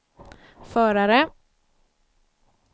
förare